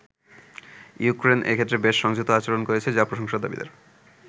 Ukraine এ ক্ষেত্রে বেশ সংযত আচরণ করছে যা প্রশংসার দাবিদার।